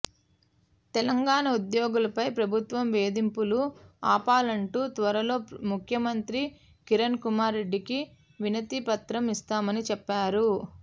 తెలంగాణ ఉద్యోగులపై ప్రభుత్వం వేధింపులు ఆపాలంటూ త్వరలో ముఖ్యమంత్రి కిరణ్ కుమార్ రెడ్డికి వినతి పత్రం ఇస్తామని చెప్పారు